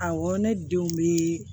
Awɔ ne denw bɛ